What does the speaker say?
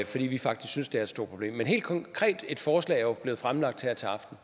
fordi vi faktisk synes det er et stort problem helt konkret at et forslag jo er blevet fremlagt her til aften